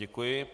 Děkuji.